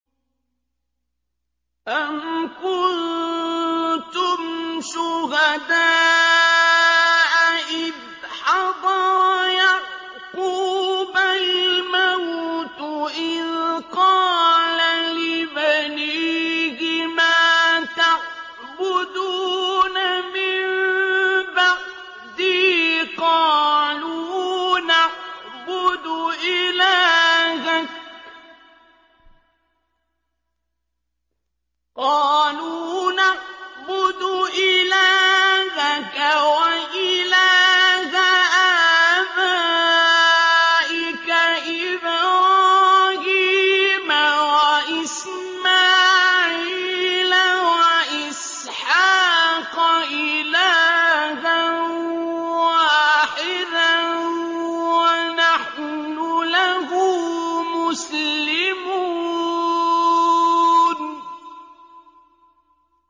أَمْ كُنتُمْ شُهَدَاءَ إِذْ حَضَرَ يَعْقُوبَ الْمَوْتُ إِذْ قَالَ لِبَنِيهِ مَا تَعْبُدُونَ مِن بَعْدِي قَالُوا نَعْبُدُ إِلَٰهَكَ وَإِلَٰهَ آبَائِكَ إِبْرَاهِيمَ وَإِسْمَاعِيلَ وَإِسْحَاقَ إِلَٰهًا وَاحِدًا وَنَحْنُ لَهُ مُسْلِمُونَ